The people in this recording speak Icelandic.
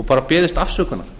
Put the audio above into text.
og bara beðist afsökunar